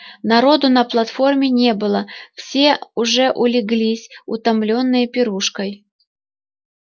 народу на платформе не было все уже улеглись утомлённые пирушкой